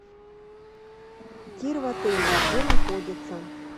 тир в отеле где находится